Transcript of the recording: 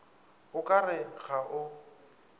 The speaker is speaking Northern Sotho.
o ka re ga o